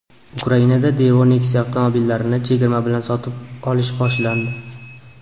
Ukrainada Daewoo Nexia avtomobillarini chegirma bilan sotish boshlandi.